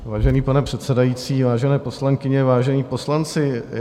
Vážený pane předsedající, vážené poslankyně, vážení poslanci.